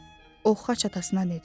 O Xaç atasına dedi.